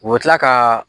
U bɛ tila ka